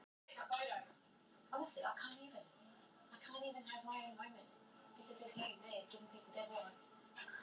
Staðnir að ólöglegum hrefnuveiðum